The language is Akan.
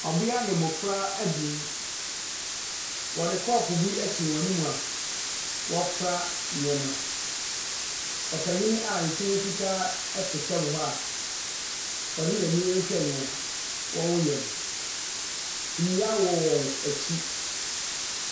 Ɔbea ne mmofra abien, wɔde kɔɔpo bi asi wɔn ani a wɔrefra nneɛma. Ɔpanyin a ne ti ho fitaa te fam hɔ a ɔde n'ani rehwɛ nea wɔreyɛ no. Nnua wɔ wɔn akyi.